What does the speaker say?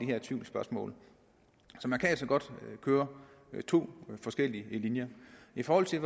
her tvivlsspørgsmål så man kan altså godt køre to forskellige linjer i forhold til